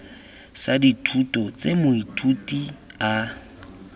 sa dithuto tse moithuti a